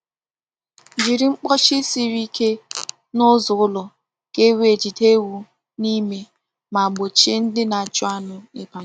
Jiri mkpọchi siri ike na ụzọ ụlọ ka e wee jide ewu n'ime ma gbochie ndị na-achụ anụ ịbanye.